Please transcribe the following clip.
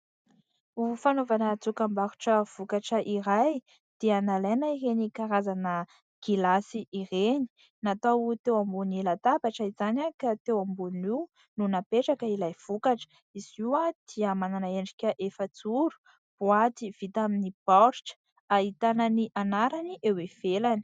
Ho fanaovana dokam-barotra vokatra iray dia nalaina ireny karazana gilasy ireny natao teo ambonin'ny latabatra izany ka teo ambonin'io no napetraka ilay vokatra izy io dia manana endrika efa-joro boaty vita amin'ny baoritra ahitana ny anarany eo ivelany.